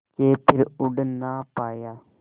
के फिर उड़ ना पाया